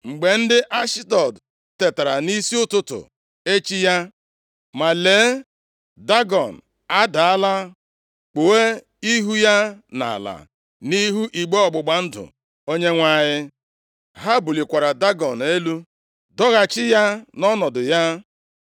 Mgbe ndị Ashdọd tetara nʼisi ụtụtụ echi ya, ma lee, Dagọn adaala, kpuo ihu ya nʼala nʼihu igbe ọgbụgba ndụ Onyenwe anyị. Ha bulikwara Dagọn elu doghachi ya nʼọnọdụ ya.